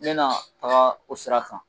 N bɛna taa o sira kan